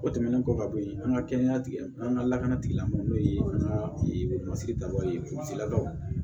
O tɛmɛnen kɔ ka bɔ yen an ka kɛnɛya tigila an ka lakana tigilamɔgɔw n'o ye an ka masiri daba ye